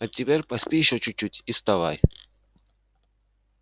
а теперь поспи ещё чуть-чуть и вставай